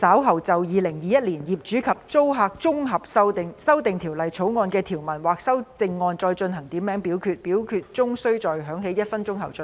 主席，我動議若稍後就《2021年業主與租客條例草案》的條文或其修正案進行點名表決，表決須在鐘聲響起1分鐘後進行。